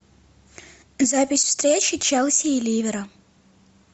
запись встречи челси и ливера